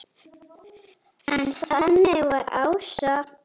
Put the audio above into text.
En þannig var Ása.